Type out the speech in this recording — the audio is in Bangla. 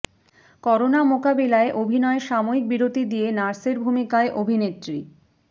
করোনা মোকাবিলায় অভিনয়ে সাময়িক বিরতি দিয়ে নার্সের ভূমিকায় অভিনেত্রী